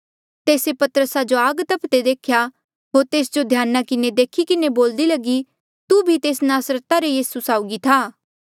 तेस्से पतरसा जो आग तफदे देख्या होर तेस जो ध्याना किन्हें देखी के बोलदी लगी तू भी तेस नासरता रे यीसू साउगी था